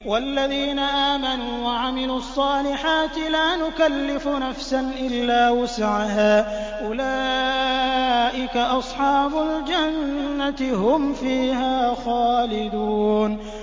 وَالَّذِينَ آمَنُوا وَعَمِلُوا الصَّالِحَاتِ لَا نُكَلِّفُ نَفْسًا إِلَّا وُسْعَهَا أُولَٰئِكَ أَصْحَابُ الْجَنَّةِ ۖ هُمْ فِيهَا خَالِدُونَ